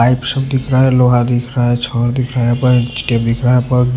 pipe सब दिख रहा है लोहा दिख रहा है छोड़ दिख रहा है यहां पर --